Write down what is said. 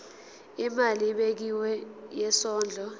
imali ebekiwe yesondlo